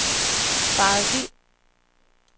faret vild